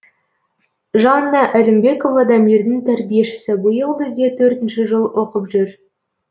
жанна әлімбекова дамирдің тәрбиешісі биыл бізде төртінші жыл оқып жүр